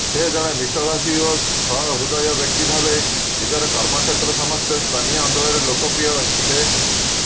ସେ ଜଣେ ମିଷ୍ଟଭାଷୀ ଓ ସହୃଦୟ ବ୍ୟକ୍ତି ଭାବେ ନିଜର କର୍ମକ୍ଷେତ୍ର ସମେତ ସ୍ଥାନୀୟ ଅଂଚଳରେ ଲୋକପ୍ରିୟ ଥିଲେ